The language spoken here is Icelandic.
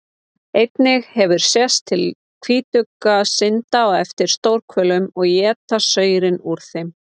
Einnig hefur sést til hvítugga synda á eftir stórhvölum og éta saurinn úr þeim.